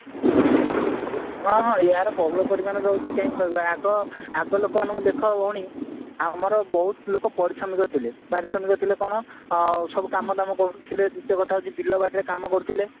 ହଁ ହଁ ଏଗୁଡାର ବହୁଳ ପରିମାଣରେ ରହୁଛି କାହିଁକି କହିଲ ଆଗ ଆଗ ଲୋକମାନଙ୍କୁ ଦେଖ ଭଉଣୀ ଆମର ବହୁତ ଲୋକ ପରିଶ୍ରମିକ ଥିଲେ ପାରିଶ୍ରମିକ ଥିଲେ କଣ ସବୁ କାମଦାମ କରୁଥିଲେ ଗୋଟେ କଥା ହାଉଛି ବିଲବଡି କାମ କରୁଥିଲେ